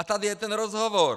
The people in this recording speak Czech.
A tady je ten rozhovor.